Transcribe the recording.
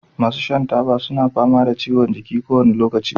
masu shan taba suna fama da ciwon jiki kowane lokaci